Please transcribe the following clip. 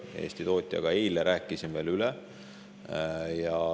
Selle Eesti tootjaga eile rääkisin veel üle.